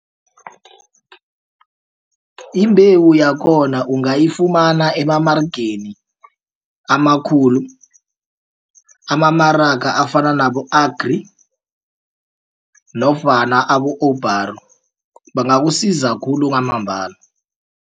Imbewu yakhona ungayifumana emamaregeni amakhulu amamaraga afana nabo-Agri nofana abo-Oupara bangakusiza khulu kwamambala.